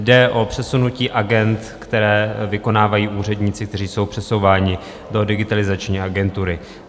Jde o přesunutí agend, které vykonávají úředníci, kteří jsou přesouváni do Digitalizační agentury.